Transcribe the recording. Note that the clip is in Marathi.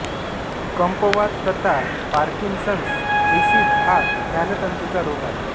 कंपवात तथा पार्किन्सन्स डिसीझ हा ज्ञानतंतुंचा रोग आहे